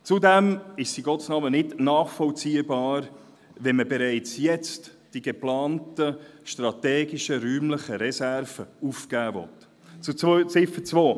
Zudem ist es nicht nachvollziehbar, die geplanten strategischen räumlichen Reserven bereits jetzt aufgeben zu wollen.